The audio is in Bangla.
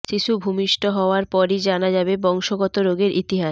শিশু ভূমিষ্ঠ হওয়ার পরই জানা যাবে বংশগত রোগের ইতিহাস